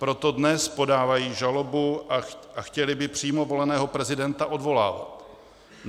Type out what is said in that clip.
Proto dnes podávají žalobu a chtěli by přímo voleného prezidenta odvolávat.